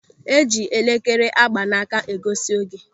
E ji elekere a gba n'aka egosi oge.